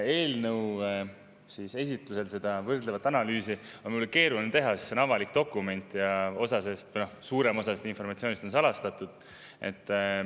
Eelnõu esitusel on seda võrdlevat analüüsi mul keeruline teha, sest see on küll avalik dokument, aga suurem osa sellest informatsioonist on salastatud.